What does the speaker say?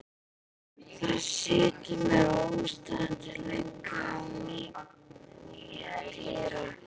Það setur að mér óstöðvandi löngun að knýja dyra.